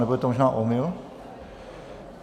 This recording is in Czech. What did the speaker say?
Nebo je to možná omyl?